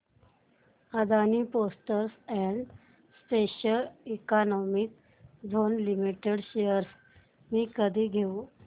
Adani ports and special economic zone limited shares मी कधी घेऊ